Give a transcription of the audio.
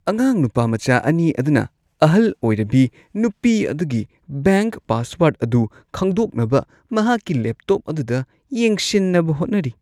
ꯑꯉꯥꯡ ꯅꯨꯄꯥꯃꯆꯥ ꯑꯅꯤ ꯑꯗꯨꯅ ꯑꯍꯜ ꯑꯣꯏꯔꯕꯤ ꯅꯨꯄꯤ ꯑꯗꯨꯒꯤ ꯕꯦꯡꯛ ꯄꯥꯁꯋꯔꯗ ꯑꯗꯨ ꯈꯪꯗꯣꯛꯅꯕ ꯃꯍꯥꯛꯀꯤ ꯂꯦꯞꯇꯣꯞ ꯑꯗꯨꯗ ꯌꯦꯡꯁꯤꯟꯅꯕ ꯍꯣꯠꯅꯔꯤ꯫